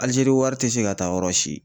Alizeri wari te se ka taa yɔrɔ si.